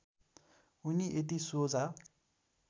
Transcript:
उनी यति सोझा